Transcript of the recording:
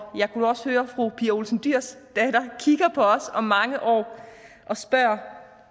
jeg kunne også høre at fru pia olsen dyhrs datter kigger på os om mange år spørger